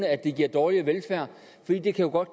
at det giver dårligere velfærd fordi det jo godt